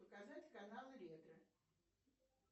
показать канал ретро